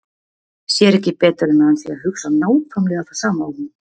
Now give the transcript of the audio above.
Sér ekki betur en að hann sé að hugsa nákvæmlega það sama og hún.